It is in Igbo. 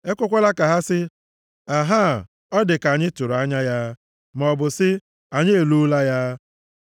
Ekwekwala ka ha sị, “Ahaa, ọ dị ka anyị tụrụ anya ya!” Maọbụ sị, “Anyị eloola ya!”